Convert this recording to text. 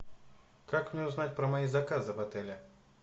как мне узнать про мои заказы в отеле